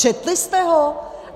Četli jste ho?